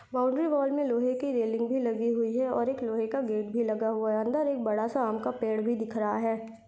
Boundary wall मे लोहे की रेलिंग भी लगी हुई है और एक लोहे का गेट भी लगा हुआ है अंदर एक बड़ा सा आम का पेड़ भी दिख रहा है।